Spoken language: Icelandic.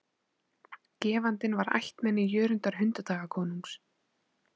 Gefandinn var ættmenni Jörundar hundadagakonungs.